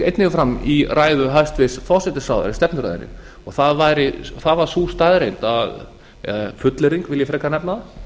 einnig fram í ræðu hæstvirts forsætisráðherra stefnuræðunni það var sú staðreynd eða fullyrðing vil ég frekar nefna